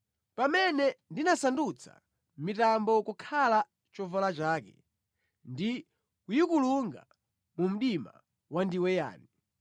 pamene ndinasandutsa mitambo kukhala chovala chake ndi kuyikulunga mu mdima wandiweyani,